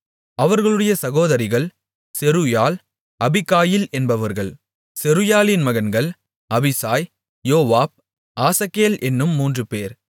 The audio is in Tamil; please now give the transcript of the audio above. அவர்களுடைய சகோதரிகள் செருயாள் அபிகாயில் என்பவர்கள் செருயாளின் மகன்கள் அபிசாய் யோவாப் ஆசகேல் என்னும் மூன்றுபேர்